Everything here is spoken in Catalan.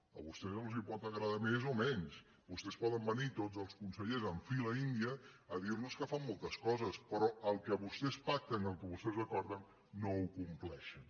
a vostès els pot agradar més o menys vostès poden venir tots els consellers en fila índia a dir nos que fan moltes coses però el que vostès pacten i el que vostès acorden no ho compleixen